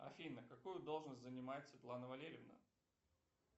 афина какую должность занимает светлана валерьевна